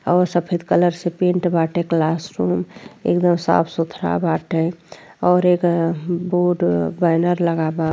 औ सफेद कलर से पेंट बाटे क्लास रूम । एकदम साफ-सुथरा बाटे और एक ह् बोर्ड बैनर लगा बा।